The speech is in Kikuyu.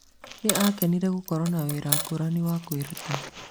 Nĩ akenire gũkorwo na wĩra ngũrani wa kwĩruta.